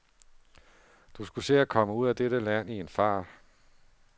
Du skulle se at komme ud af dette land i en fart.